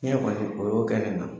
Ne yɛrɛ kɔni, o y'o kɛ ne na.